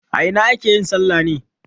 A ina ake yin salla ne?